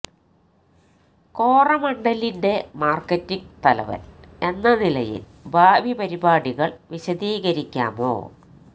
കോറമന്ഡലിന്റെ marketing തലവന് എന്ന നിലയില് ഭാവി പരിപാടികള് വിശദീകരിക്കാമോ